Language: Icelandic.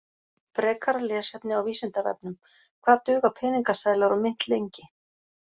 Frekara lesefni á Vísindavefnum: Hvað duga peningaseðlar og mynt lengi?